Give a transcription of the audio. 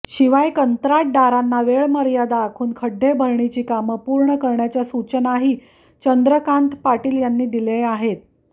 शिवाय कंत्राटदारांना वेळमर्यादा आखून खड्डेभरणीची कामं पूर्ण करण्याच्या सूचनाही चंद्रकांत पाटील यांनी दिल्या आहेत